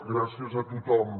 gràcies a tothom